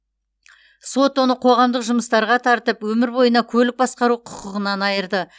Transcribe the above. сот оны қоғамдық жұмыстарға тартып өмір бойына көлік басқару құқығынан айырды